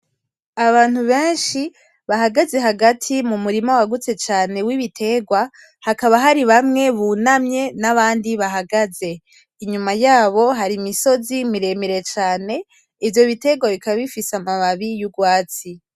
Abantu bahagaze hagati mumurima wagutse cane w’ibiterwa, hakaba haribamwe bunamye n’abandi bahagaze inyuma yabo harimisozi miremire cane ivyo biterwa bikaba bifise amababi y’urwatsi.